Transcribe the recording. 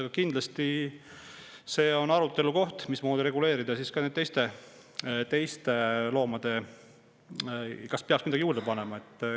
Aga kindlasti on see arutelu koht, mismoodi reguleerida seda ka teiste loomade puhul ja kas peaks midagi juurde panema.